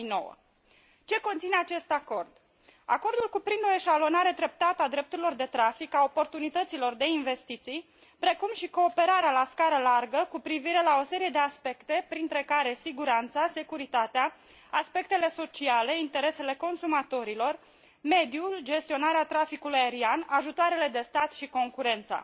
2009. Ce conține acest acord acordul cuprinde o eșalonare treptată a drepturilor de trafic, a oportunităților de investiții precum și cooperarea la scară largă cu privire la o serie de aspecte printre care siguranța, securitatea, aspectele sociale, interesele consumatorilor, mediul, gestionarea traficului aerian, ajutoarele de stat și concurența.